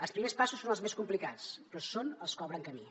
els primers passos són els més complicats però són els que obren camí